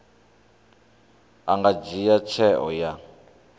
a nga dzhia tsheo ya